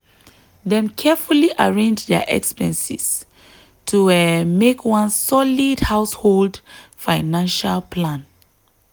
dem carefully arrange dia expenses to um make one solid household financial plan.